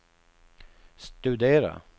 studera